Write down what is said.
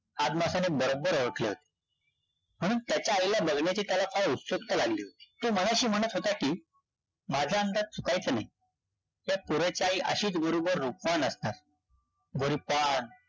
अदमासाने बरोबर ओळखले होते. म्हणून त्याच्या आईला बघण्याची त्याला फार उत्सुकता लागली होती. तो मनाशी म्हणत होता कि, माझा अंदाज चुकायचा नाही. त्या पोराची आई अशीच बरोबर रूपवान असणार. गोरीपान,